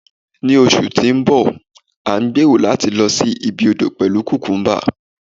ní oṣù ti nbọ, a n gbero lati lo sí ibi odo pelu cucumba